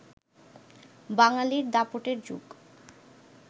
বাঙালির দাপটের যুগ